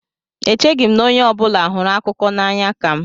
Echeghị m na onye ọ bụla hụrụ akụkọ n'anya ka m.